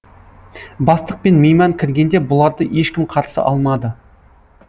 бастық пен мейман кіргенде бұларды ешкім қарсы алмады